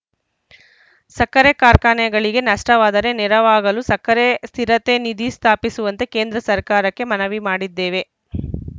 ಸಕ್ಕರೆ ಕಾರ್ಖಾನೆಗಳಿಗೆ ನಷ್ಟವಾದರೆ ನೆರವಾಗಲು ಸಕ್ಕರೆ ಸ್ಥಿರತೆ ನಿಧಿ ಸ್ಥಾಪಿಸುವಂತೆ ಕೇಂದ್ರ ಸರ್ಕಾರಕ್ಕೆ ಮನವಿ ಮಾಡಿದ್ದೇವೆ